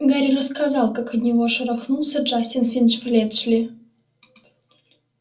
гарри рассказал как от него шарахнулся джастин финч-флетчли